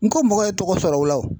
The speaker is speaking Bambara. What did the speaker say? Nko mɔgɔ ye tɔgɔ sɔrɔ o la o.